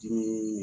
Dimi